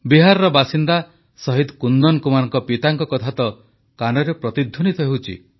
ବିହାରର ବାସିନ୍ଦା ଶହୀଦ କୁନ୍ଦନ କୁମାରଙ୍କ ପିତାଙ୍କ କଥା ତ କାନରେ ପ୍ରତିଧ୍ୱନିତ ହେଉଛି